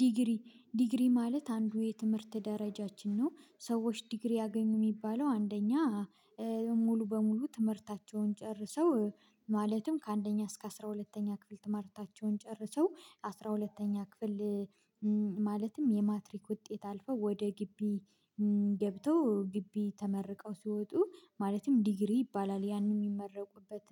ዲግሪ ዲግሪ ማለት አንዱ የትምህርት ደረጃችን ነው። ሰዎች ዲግሪ ያገኙ የሚባለው አንደኛ ሙሉ በሙሉ ትምህርታቸውን ጨርሰው ማለትም ከአንደኛ እስከ አስራ ሁለተኛ ክፍል ትምህርታቸውን ጨርሰው አስራ ሁለተኛ ክፍል ማለትም የማትሪክ ውጤት አልፈው ወደ ግቢ ገብተው ግቢ ተመርቀው ሲወጡ ማለትም ዲግሪ ይባላል ያንን የሚመረቁበት